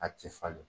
A ti falen